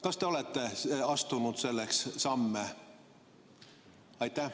Kas te olete astunud selleks samme?